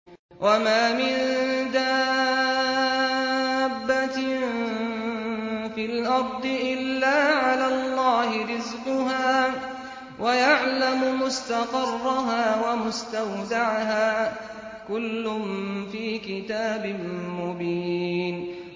۞ وَمَا مِن دَابَّةٍ فِي الْأَرْضِ إِلَّا عَلَى اللَّهِ رِزْقُهَا وَيَعْلَمُ مُسْتَقَرَّهَا وَمُسْتَوْدَعَهَا ۚ كُلٌّ فِي كِتَابٍ مُّبِينٍ